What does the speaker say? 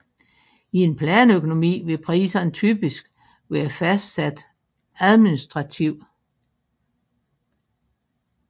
I en planøkonomi vil priserne typisk være fastsatte administrativt